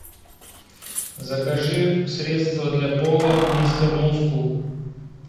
закажи средство для пола мистер мускул